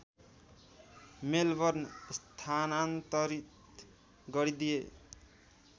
Melbourne स्थानान्तरित गरिदिए